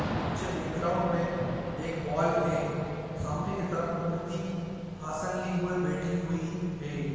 पीछे बैकग्राउंड मे पर एक वॉल है सामने के तरफ मूर्ति आसन लिए हुए बैठी हुई है।